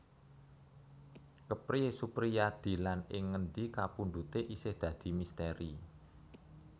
Kepriye Suprijadi lan ing ngendi kapundhute isih dadi misteri